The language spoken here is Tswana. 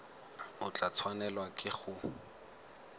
o tla tshwanelwa ke go